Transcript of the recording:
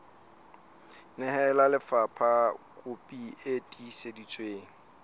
nehela lefapha kopi e tiiseditsweng